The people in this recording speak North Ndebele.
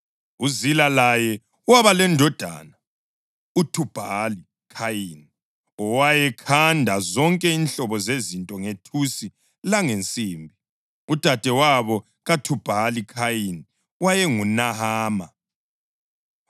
UZila laye waba lendodana, uThubhali-Khayini, owayekhanda zonke inhlobo zezinto ngethusi langensimbi. Udadewabo kaThubhali-Khayini wayenguNahama.